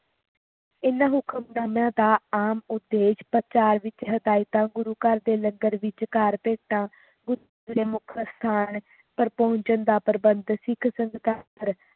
ਇਹਨਾਂ ਹੁਕਮਨਾਮਿਆਂ ਦਾ ਆਮ ਉਦੇਸ਼ ਪ੍ਰਚਾਰ ਵਿਚ ਹਦਾਇਤਾਂ ਗੁਰੂ ਘਰ ਦੇ ਲੰਗਰ ਵਿਚਕਾਰ ਭੇਟਾਂ ਗੁਰੂ ਦੇ ਮੁਖ ਅਸਥਾਨ ਪਰ ਪਹੁੰਚਣ ਦਾ ਪ੍ਰਬੰਧ ਸਿੱਖ ਸੰਗਤਾਂ